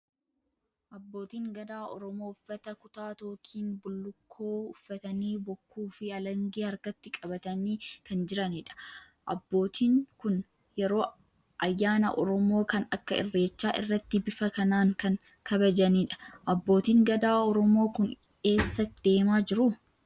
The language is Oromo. Abbootiin Gadaa Oromoo uffata kutaa tookiin bullukkoo uffatanii Bokkuu fi Alangee harkatti qabatanii kan jiranidha. Abbootiin kun yeroo ayyaana Oromoo kan akka Irreechaa irratti bifa kanaan kan kabajanidha. Abbootiin Gadaa Oromoo kun eessa deemaa jiru?